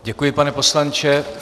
Děkuji, pane poslanče.